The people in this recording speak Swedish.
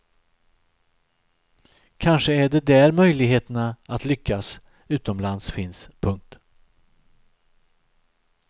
Kanske är det där möjligheterna att lyckas utomlands finns. punkt